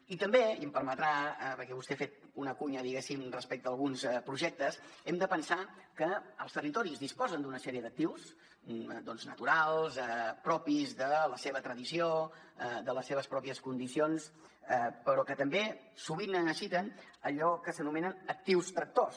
i també i m’ho permetrà perquè vostè ha fet una cuña diguéssim respecte a alguns projectes hem de pensar que els territoris disposen d’una sèrie d’actius naturals propis de la seva tradició de les seves pròpies condicions però que també sovint necessiten allò que s’anomenen actius tractors